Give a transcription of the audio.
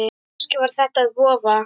Kannski var þetta vofa